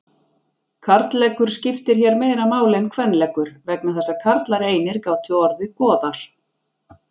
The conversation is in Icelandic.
Karlleggur skiptir hér meira máli en kvenleggur vegna þess að karlar einir gátu orðið goðar.